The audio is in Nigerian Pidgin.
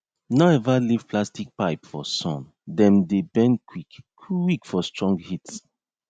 no ever leave plastic pipe for sun dem dey bend quick quick for strong heat